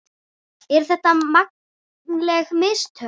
Eru þetta mannleg mistök?